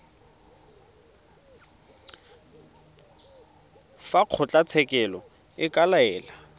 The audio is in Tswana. fa kgotlatshekelo e ka laela